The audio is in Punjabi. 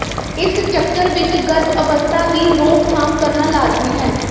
ਇਸ ਚੱਕਰ ਵਿੱਚ ਗਰਭ ਅਵਸਥਾ ਦੀ ਰੋਕਥਾਮ ਕਰਨਾ ਲਾਜ਼ਮੀ ਹੈ